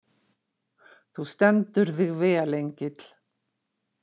Þú stendur þig vel, Engill!